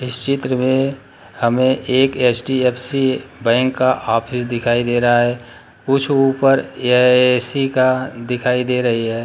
इस चित्र में हमें एक एच.दी.एफ.सी. बैंक का ऑफिस दिखाई दे रहा है कुछ ऊपर ये ए.सी. का दिखाई दे रही है।